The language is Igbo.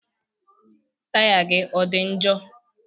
Taya gị ọ dị njọ?